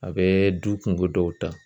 A bɛ du kungo ddɔw ta.